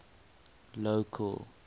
local